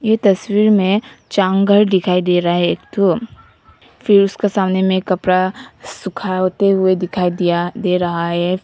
ये तस्वीर में जंगल दिखाई दे रहा है एक ठो फिर उसके सामने में कपड़ा सूखाते दिखाई दिया दे रहा है।